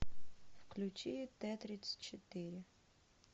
включи т тридцать четыре